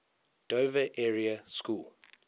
dover area school